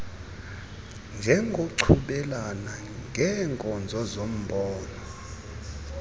njengokuchubelana ngeenkozo zombona